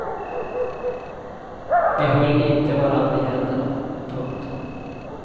Vi höll inte varann i händerna. punkt